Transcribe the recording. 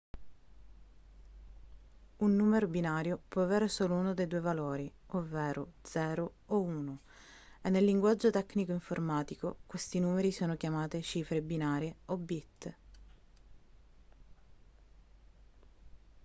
un numero binario può avere solo uno dei due valori ovvero 0 o 1 e nel linguaggio tecnico informatico questi numeri sono chiamati cifre binarie o bit